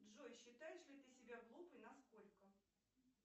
джой считаешь ли ты себя глупой на сколько